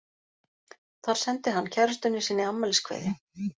Þar sendi hann kærustunni sinni afmæliskveðju.